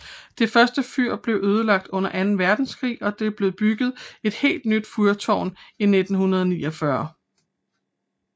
Det første fyr blev ødelagt under anden verdenskrig og der blev bygget et helt nyt fyrtårn i 1949